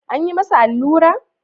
An yi masa allura?